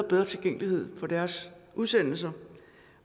bedre tilgængelighed for deres udsendelser